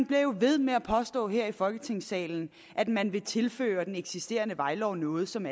bliver jo ved med at påstå her i folketingssalen at man vil tilføre den eksisterende vejlov noget som